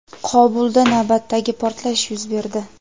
Qobulda navbatdagi portlash yuz berdi.